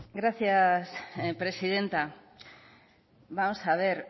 gracias presidenta vamos a ver